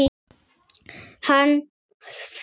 Hann flutti